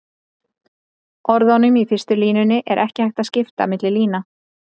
orðunum í fyrstu línunni er ekki hægt að skipta milli lína